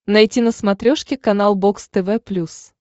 найти на смотрешке канал бокс тв плюс